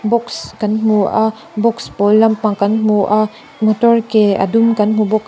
box kan hmu a box pawl lampang kan hmu a motor ke a dum kan hmu bawk a.